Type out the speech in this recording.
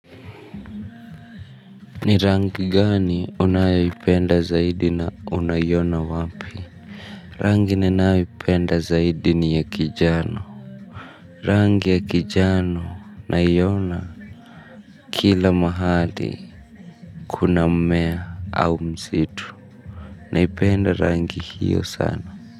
Ni rangi gani unayoipenda zaidi na unaiona wapi. Rangi ninayoipenda zaidi ni ya kijano. Rangi ya kijano naiona. Kila mahali kuna mmea au msitu. Naipenda rangi hiyo sana.